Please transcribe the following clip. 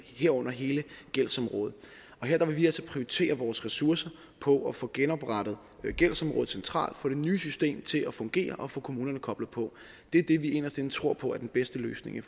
herunder hele gældsområdet her vil vi altså prioritere vores ressourcer på at få genoprettet gældsområdet centralt få det nye system til at fungere og få kommunerne koblet på det er det vi inderst inde tror på er den bedste løsning i